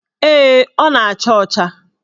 Ee, ọ na-acha ọcha.